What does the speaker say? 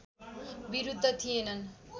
विरुद्ध थिएनन्